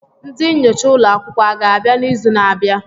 Ndị nyocha ụlọ akwụkwọ aga-abịa n'izu na-abịa?